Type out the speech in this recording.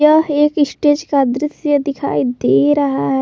वह एक स्टेज का दृश्य दिखाई दे रहा है।